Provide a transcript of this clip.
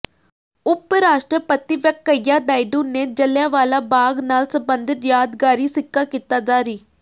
ਉੱਪ ਰਾਸ਼ਟਰਪਤੀ ਵੈਂਕਈਆ ਨਾਇਡੂ ਨੇ ਜਲ੍ਹਿਆਂਵਾਲਾ ਬਾਗ ਨਾਲ ਸੰਬੰਧਿਤ ਯਾਦਗਾਰੀ ਸਿੱਕਾ ਕੀਤਾ ਜਾਰੀ